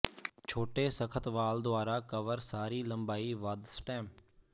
ਛੋਟੇ ਸਖ਼ਤ ਵਾਲ ਦੁਆਰਾ ਕਵਰ ਸਾਰੀ ਲੰਬਾਈ ਵੱਧ ਸਟੈਮ